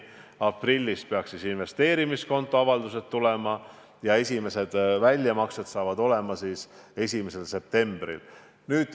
Aprillis peaks investeerimiskonto avaldused tulema ja esimesed väljamaksed saavad olema 1. septembril.